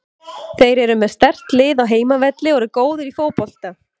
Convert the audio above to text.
Þeir eru með sterkt lið á heimavelli og eru góðir í fótbolta.